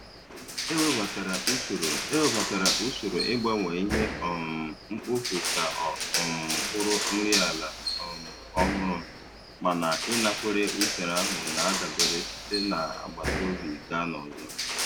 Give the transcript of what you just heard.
E webatara usoro E webatara usoro ịgbanwe ihe um mkpofu ka ọ um bụrụ nri ala um ọhụrụ, mana ịnakwere usoro ahụ na-adabere site n'agbataobi gaa n'ọzọ.